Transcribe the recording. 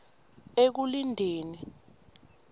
ekulindeni